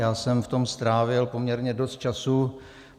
Já jsem v tom strávil poměrně dost času.